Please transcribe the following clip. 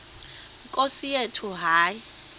nkosi yethu hayi